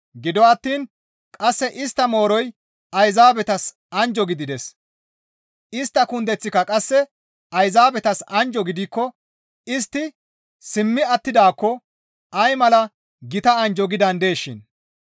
Gido attiin qasse istta mooroy Ayzaabetas anjjo gidides. Istta kundeththika qasse Ayzaabetas anjjo gidikko istti simmi attidaakko ay mala gita anjjo gidandeeshin!